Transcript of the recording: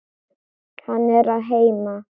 Hann er að heiman.